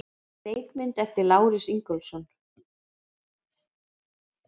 Leikmynd eftir Lárus Ingólfsson.